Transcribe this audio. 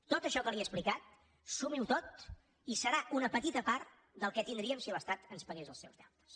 tot això que li he explicat sumiho tot i serà una petita part del que tindríem si l’estat ens pagués els seus deutes